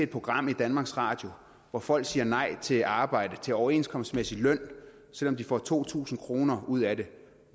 program i danmarks radio at folk siger nej til arbejde til overenskomstmæssig løn selv om de får to tusind kroner ud af det